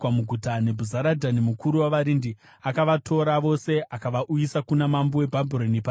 Nebhuzaradhani mukuru wavarindi akavatora vose akavauyisa kuna mambo weBhabhironi paRibhira.